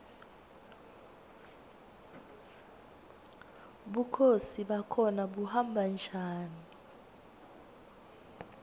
bukhosi bakhona buhamba njani